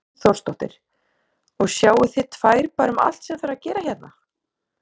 Hrund Þórsdóttir: Og sjáið þið tvær bara um allt sem þarf að gera hérna?